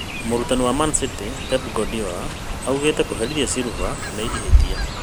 Mũrutani wa Man-City Pep Kuardiola augite kũherithia Silva nĩ ihĩtia.